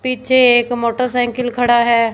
पीछे एक मोटरसाइकिल खड़ा है।